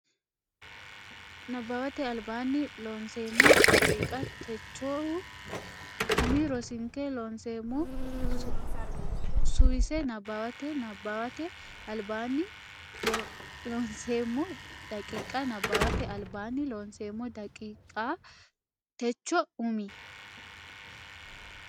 Nabbawate Albaanni Loonseemmo daqiiqa techohu umi rosinke Loonseemmo suwise nabbawate Nabbawate Albaanni Loonseemmo daqiiqa Nabbawate Albaanni Loonseemmo daqiiqa techohu umi.